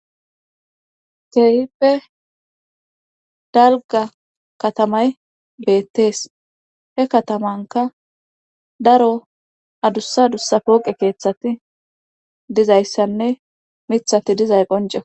Keehippe dalga katamay beettees he katamanka daro adussa dussa pooqe keeththati dizayssanne mithati dizay qonceko.